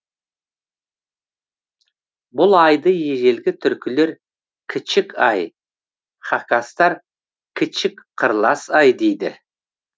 бұл айды ежелгі түркілер кічік ай хакастар кічік қырлас ай дейді